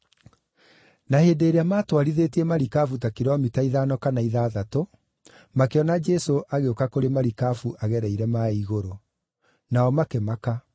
Na hĩndĩ ĩrĩa maatwarithĩtie marikabu ta kilomita ithano kana ithathatũ, makĩona Jesũ agĩũka kũrĩ marikabu-inĩ agereire maaĩ igũrũ; nao makĩmaka.